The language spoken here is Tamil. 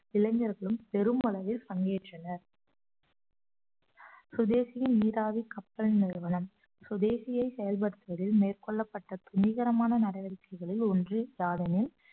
இளைஞர்களும் பெருமளவில் பங்கேற்றனர் சுதேசி நீராவி கப்பல் நிறுவனம் சுதேசியை செயல்படுத்துவதில் மேற்கொள்ளப்பட்ட துணிகரமான நடவடிக்கைகளில் ஒன்று யாதெனில்